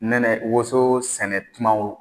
Nɛnɛ woso sɛnɛtuma